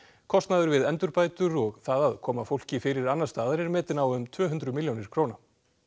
kostnaður við endurbætur og það að koma fólki fyrir annars staðar er metinn á um tvö hundruð milljónir króna